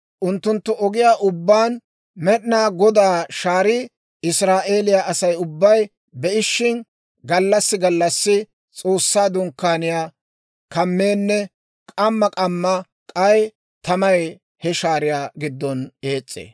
Unttunttu ogiyaa ubbaan Med'inaa Godaa shaarii Israa'eeliyaa Asay ubbay be'ishin, gallassi gallassi S'oossaa Dunkkaaniyaa kameenne k'amma k'amma k'ay tamay he shaariyaa giddon ees's'ee.